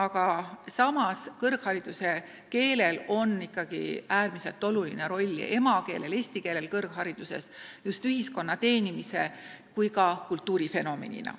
Aga samas, kõrghariduse keeleks olemine mängib ikkagi äärmiselt olulist rolli, et meie emakeel areneks, et eesti keel püsiks nii ühiskonna teenijana kui ka kultuurifenomenina.